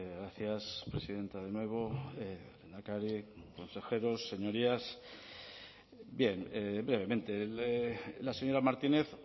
gracias presidenta de nuevo lehendakari consejeros señorías bien brevemente la señora martínez